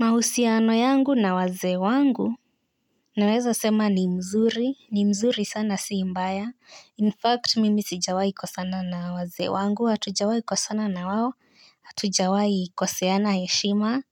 Mahusiano yangu na wazee wangu naweza sema ni mzuri ni mzuri sana si mbaya in fact mimi sijawai kwa sana na wazee wangu hatujawai kwa sana na wawo hatujawai koseana heshima.